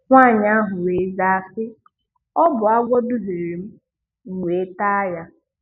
Nwaanyị ahụ wee zaa sị: "Ọ bụ agwọ duhiere m, m wee taa ya."